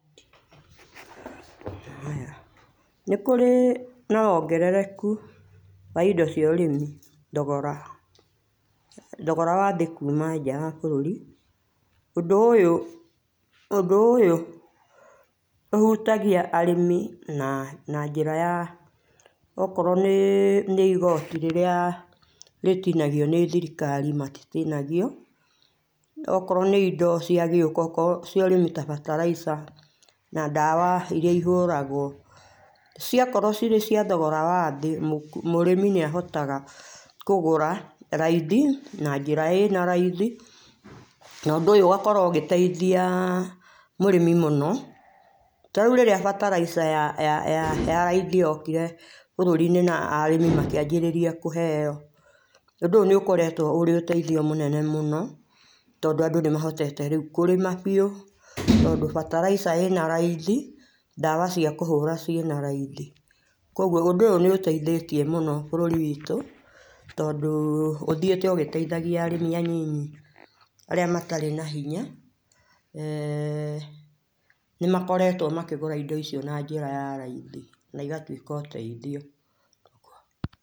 Haya Nĩkũrĩ na wongererekũ wa indo cia ũrĩmĩ thogora , thogora wa thĩ kũma nja wa bũrũri ũndũ ũyũ ũndũ ũyũ ũhũtagia arĩmi na na njĩra ya okorwo nĩ igotĩ rĩrĩa rĩtinagio nĩ thirikari matitinagio ,okorwo nĩ indo cia gĩũka okorwo cia ũrĩmi a bataraica na dawa irĩa ihũragwo cia korwo cirĩ cia thogora wa thĩ mũrĩmĩ nĩahotaga kũgũra raithi na njĩra ĩna raithi na ũndũ ũyũ ũgakorwo ũgĩteithia mũrĩmi mũno rĩũ rĩrĩa bataraica ya raithi yokire bũrũri inĩ na arĩmi makĩambĩrĩria kũheo ũndũ ũyũ nĩ ũkoregwo ũrĩ ũteithio mũnene mũno tondũ andũ nĩmahotete rĩũ kũrĩma biũ tondũ bataraica ĩna raithi dawa cia kũhũra ciĩna raithi koguo ũndũ ũyũ nĩ ũteithĩtie mũno bũrũri witũ tondũ ũthiĩte ũgĩteithagia arĩmĩ a nini arĩa matarĩ na hinya eeh ,nĩmakoretwo makĩgũra indo icio na njĩra ya raithi na igatwĩka ũteithio.